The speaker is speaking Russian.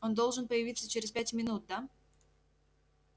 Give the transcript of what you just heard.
он должен появиться через пять минут да